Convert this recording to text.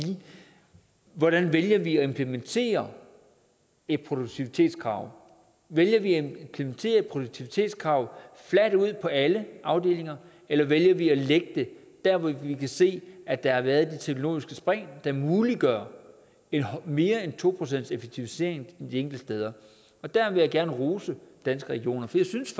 hvordan vælger vi at implementere et produktivitetskrav vælger vi at implementere et produktivitetskrav fladt ud på alle afdelinger eller vælger vi at lægge det der hvor vi kan se at der har været de teknologiske spring der muliggør mere end to procent effektivisering de enkelte steder og der vil jeg gerne rose danske regioner for jeg synes